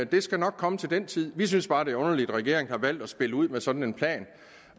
det skal nok komme til den tid vi synes bare det er underligt at regeringen har valgt at spille ud med sådan en plan